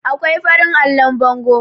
akwai farin allon bango